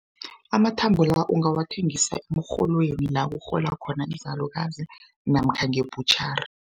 Amathambo la ungawathengisa emrholweni la kurhola khona izalukazi namkha nge-butchery.